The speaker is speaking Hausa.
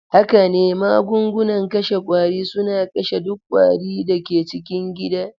Haka ne, magungunan kashe ƙwari suna kashe duk ƙwari da ke cikin gida.